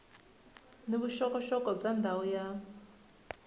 ni vuxokoxoko bya ndhawu ya